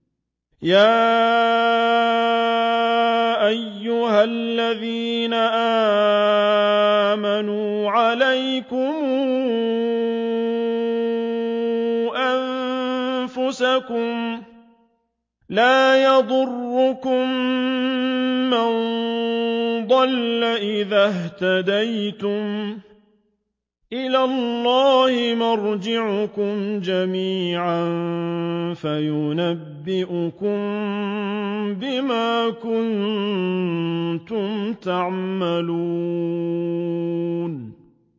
يَا أَيُّهَا الَّذِينَ آمَنُوا عَلَيْكُمْ أَنفُسَكُمْ ۖ لَا يَضُرُّكُم مَّن ضَلَّ إِذَا اهْتَدَيْتُمْ ۚ إِلَى اللَّهِ مَرْجِعُكُمْ جَمِيعًا فَيُنَبِّئُكُم بِمَا كُنتُمْ تَعْمَلُونَ